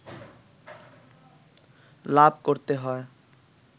লাভ করতে হয়